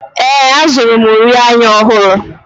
Ee, azụrụ m uri anya ọhụrụ.